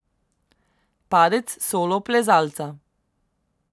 Padec solo plezalca.